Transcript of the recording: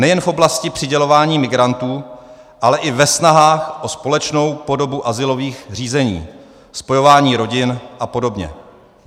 Nejen v oblasti přidělování migrantů, ale i ve snahách o společnou podobu azylových řízení, spojování rodin a podobně.